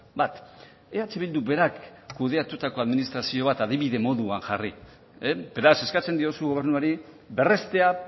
bat eh bilduk berak kudeatutako administrazio bat adibide moduan jarri beraz eskatzen diozu gobernuari berrestea